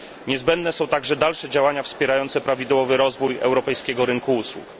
Niezbędne są także dalsze działania wspierające prawidłowy rozwój europejskiego rynku usług.